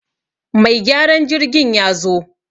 Mai gyaran jirgin ya zo